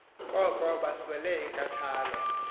koko baswele inkathalo